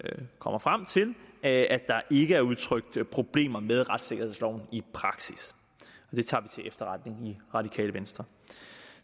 kommer frem til at der ikke er udtrykt problemer med retssikkerhedsloven i praksis det tager vi til efterretning i radikale venstre